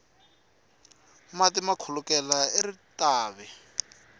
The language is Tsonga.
mati ma khulukela eritavi